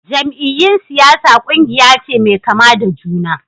Jam'iyyun siyasa kungiya ce mai kama da juna.